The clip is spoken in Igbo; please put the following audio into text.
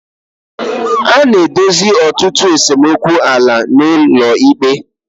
A na-edozi ọtụtụ esemokwu ala n'ụlọ ikpe.